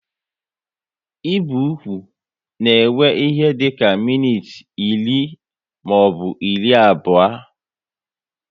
Ibi ụkwụ na ewe ihe dịka minutes iri maọbụ iri abụọ